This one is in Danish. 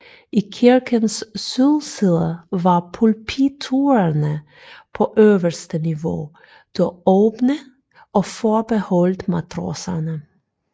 I kirkens sydside var pulpiturerne på øverste niveau dog åbne og forbeholdt matroserne